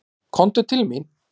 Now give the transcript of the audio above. Komdu til mín.